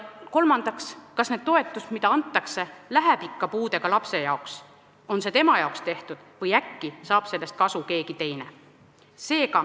Kolmandaks, kas see toetus, mida antakse, läheb ikka puudega lapse jaoks, on see tema jaoks tehtud, või äkki saab sellest kasu keegi teine?